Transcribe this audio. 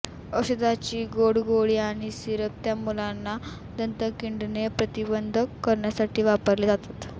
औषधाची गोड गोळी आणि सिरप त्या मुलांना दंत किंडणे प्रतिबंध करण्यासाठी वापरले जातात